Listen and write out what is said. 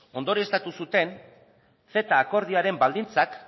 ondorioztatu zuten ceta akordioaren baldintzak